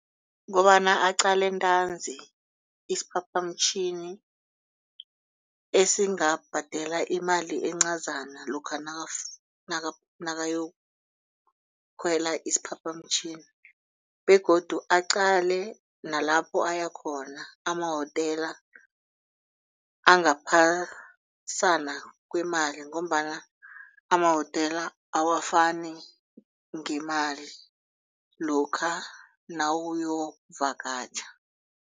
Kobana aqale ntanzi isiphaphamtjhini esingabhadela imali encazana lokha nakayokukhwela isiphaphamtjhini begodu aqale nalapho ayakhona amahotela angaphasana kwemali ngombana amahotela awafani ngemali lokha nawuyokuvakatjha.